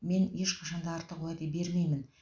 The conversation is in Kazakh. мен ешқашан да артық уәде бермеймін